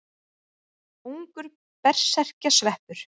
Ungur berserkjasveppur.